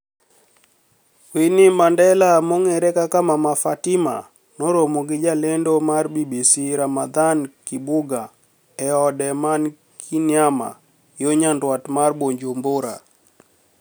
Wininiie Manidela monig'ere kaka Mama Fatima noromo gi jalenido mar BBC Ramadhanii Kibuga e ode mani Kiniama yo niyanidwat mar Bujumbura.